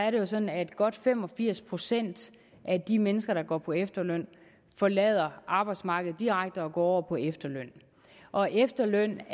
at det er sådan at godt fem og firs procent af de mennesker der går på efterløn forlader arbejdsmarkedet direkte og går på efterløn og efterløn